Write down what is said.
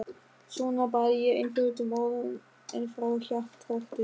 Svona bað ég einföldum orðum en frá hjartarótum.